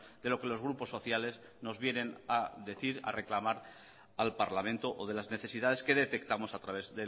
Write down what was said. de lo que los grupos sociales nos vienen a decir a reclamar al parlamento o de las necesidades que detectamos a través